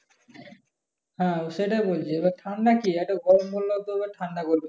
হ্যাঁ সেটাই বলছি এবার ঠান্ডা কি একবার গরম পড়লো তো একবার ঠান্ডা পড়লো।